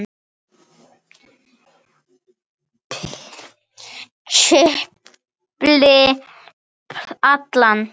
Philip, Allan.